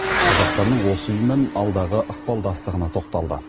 қазақстанның осы ұйыммен алдағы ықпалдастығына тоқталды